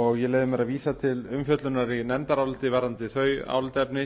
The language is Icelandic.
og ég leyfi mér að vísa til umfjöllunar í nefndaráliti varðandi þau álitaefni